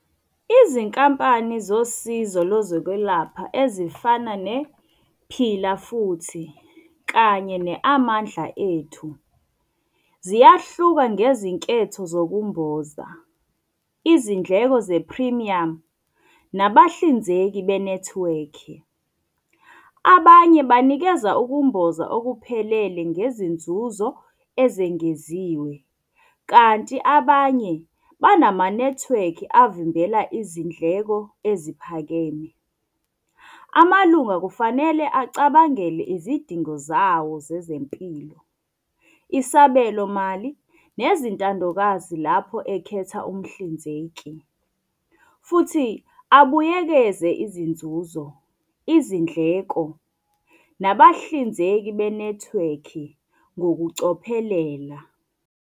Izinkampani zosizo lezokwelapha ezifana nePhila Futhi kanye ne-Amandla Ethu ziyahluka ngezinketho zokumboza, izindleko zephrimiyamu, nabahlinzeki benethiwekhi. Abanye banikeza ukumboza okuphelele ngezinzuzo ezengeziwe, kanti abanye banamanethiwekhi avimbela izindleko eziphakeme. Amalunga kufanele acabangele izidingo zawo zezempilo, isabelomali, nezintandokazi lapho ekhetha umhlinzeki. Futhi abuyekeze izinzuzo, izindleko, nabahlinzeki benethiwekhi ngokucophelela.